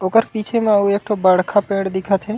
ओकर पीछे म अऊ एक ठो बड़का पेड़ दिखत हे।